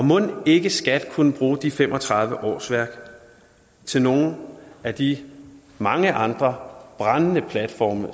mon ikke skat kunne bruge de fem og tredive årsværk til nogle af de mange andre brændende platforme